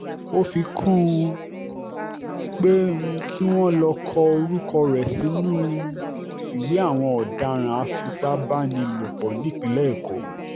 ó fi kún un pé um kí wọ́n lọ́ọ́ kọ orúkọ rẹ̀ sínú um ìwé àwọn ọ̀daràn a-fipá-bá-ni-lòpọ̀ nípínlẹ̀ èkó